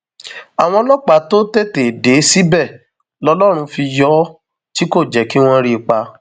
àwọn ọlọpàá tó tètè dé síbẹ lọlọrun fi yọ ọ tí kò jẹ kí wọn rí i pa